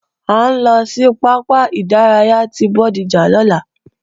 À ń lọ sí pápá ìdárayá ti Bódìjà lọ́la